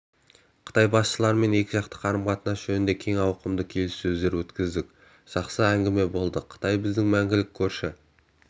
қытай басшыларымен екіжақты қарым-қатынас жөнінде кең ауқымды келіссөздер өткіздік жақсы әңгіме болды қытай біздің мәңгілік көрші